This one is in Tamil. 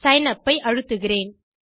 சிக்னப் ஐ அழுத்துகிறேன்